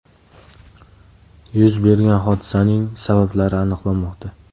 Yuz bergan hodisaning sabablari aniqlanmoqda.